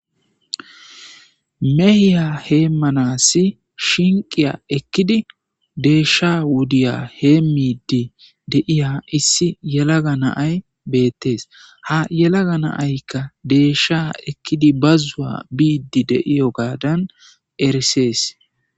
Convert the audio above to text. mehiya heemanassi shinqiya ekkidi deeshsha wudiya hee miiddi deiya issi yelaga naay beettes ha yelaga naaykka deeshsha ekkidi bazzuwa biiddi deiyo gaadan erisees